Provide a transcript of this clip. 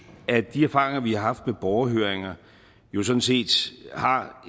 at de erfaringer vi har haft med borgerhøringer jo sådan set har